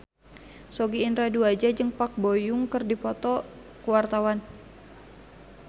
Sogi Indra Duaja jeung Park Bo Yung keur dipoto ku wartawan